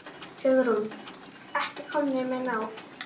Hugrún: Ekki komnir með nóg?